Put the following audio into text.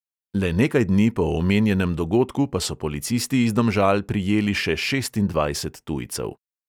Le nekaj dni po omenjenem dogodku pa so policisti iz domžal prijeli še šestindvajset tujcev.